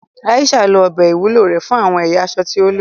Aisha lo ọ̀bẹ ìwúlò rẹ̀ fún àwọn ẹ̀yà aṣọ tí ó le.